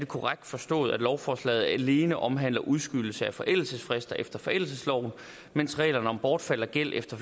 korrekt forstået at lovforslaget alene omhandler udskydelse af forældelsesfrister efter forældelsesloven mens reglerne om bortfald af gæld efter